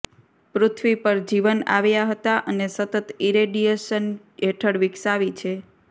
પૃથ્વી પર જીવન આવ્યા હતા અને સતત ઇરેડિયેશન હેઠળ વિકસાવી છે